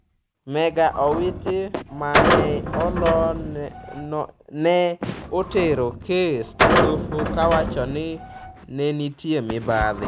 Mega Owiti ma ne olo ne otero kes edoho kowacho ni ne nitie mibadhi.